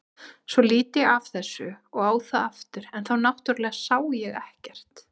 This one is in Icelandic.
Svo lít ég af þessu og á það aftur en þá náttúrlega sá ég ekkert.